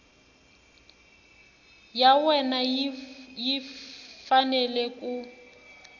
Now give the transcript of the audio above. ya wena yi fanele ku